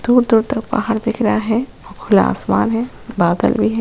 दूर-दूर तक पहाड़ दिख रहा है खुला आसमान है बादल भी है।